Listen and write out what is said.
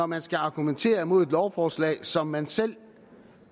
man skal argumentere imod et lovforslag som man selv